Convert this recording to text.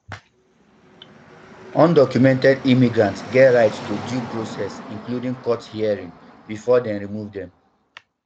undocumented immigrants get right to due process including court hearing bifor dem remove dem